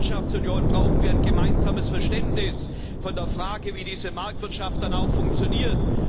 In der Wirtschaftsunion brauchen wir ein gemeinsames Verständnis von der Frage, wie diese Marktwirtschaft dann auch funktioniert.